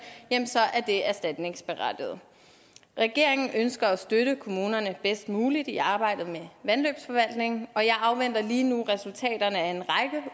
er det erstatningsberettiget regeringen ønsker at støtte kommunerne bedst muligt i arbejdet med vandløbsforvaltningen og jeg afventer lige nu resultaterne af en